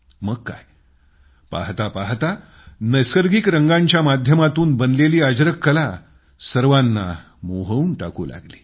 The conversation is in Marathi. मग काय पाहता पाहता नैसर्गिक रंगांच्या माध्यमातून बनलेली अजरक कला सर्वांना मोहवून टाकू लागली